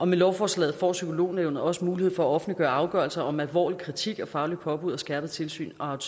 med lovforslaget får psykolognævnet også mulighed for at offentliggøre afgørelser om alvorlig kritik og fagligt påbud og skærpet tilsyn og